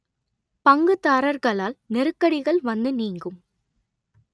பங்குதாரர்களால் நெருக்கடிகள் வந்து நீங்கும்